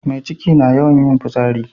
Mai ciki na yawan yin fotsari